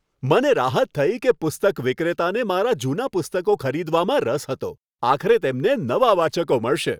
મને રાહત થઈ કે પુસ્તક વિક્રેતાને મારા જૂના પુસ્તકો ખરીદવામાં રસ હતો. આખરે તેમને નવા વાચકો મળશે.